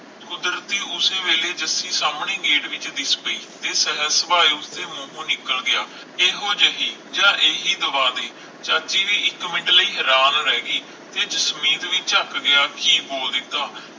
ਕੁਦਰਤੀ ਉਸ ਵੇਲੇ ਜੱਸੀ ਸਾਮਣੇ ਹੀ ਗੇਟ ਵਿਚ ਹੀ ਦਿਸ ਪਈ ਤੇ ਸਰਸ ਉਸ ਦੇ ਮੂਹੋ ਨਿਕਲ ਗਿਆ ਇਹੋ ਜਿਹੀ ਜਾ ਹੀ ਦਵਾ ਦੀ ਤਾ ਅਸੀਂ ਵੀ ਇਕ ਮਿੰਟ ਲਈ ਹੈਰਾਨ ਰਹਿ ਗਏ ਕੇ ਜਸਮੀਤ ਵੀ ਝਕ ਗਿਆ ਕਿ ਬੋਲ ਦਿੱਤਾ